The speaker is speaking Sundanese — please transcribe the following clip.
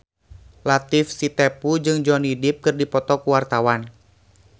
Latief Sitepu jeung Johnny Depp keur dipoto ku wartawan